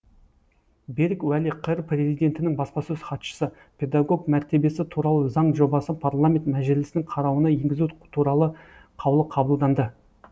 берік уәли қр президентінің баспасөз хатшысы педагог мәртебесі туралы заң жобасы парламент мәжілісінің қарауына енгізу туралы қаулы қабылданды